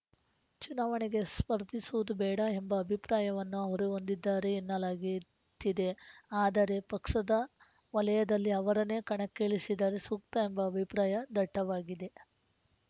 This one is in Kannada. ಚುನಾವಣೆಗೆ ಸ್ಪರ್ಧಿಸುವುದು ಬೇಡ ಎಂಬ ಅಭಿಪ್ರಾಯವನ್ನೂ ಅವರು ಹೊಂದಿದ್ದಾರೆ ಎನ್ನಲಾಗಿತ್ತಿದೆ ಆದರೆ ಪಕ್ಸದ ವಲಯದಲ್ಲಿ ಅವರನ್ನೇ ಕಣಕ್ಕಿಳಿಸಿದರೆ ಸೂಕ್ತ ಎಂಬ ಅಭಿಪ್ರಾಯ ದಟ್ಟವಾಗಿದೆ